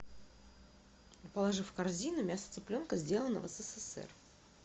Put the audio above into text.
положи в корзину мясо цыпленка сделано в ссср